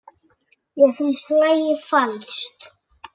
Mér finnst lagið falskt.